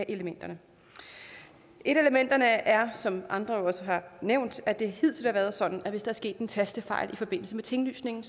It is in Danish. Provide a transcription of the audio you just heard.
elementerne et af elementerne er som andre også har nævnt at det hidtil har været sådan at hvis der er sket en tastefejl i forbindelse med tinglysningen